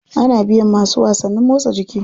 Ana biyan masu wasannin motsa jiki.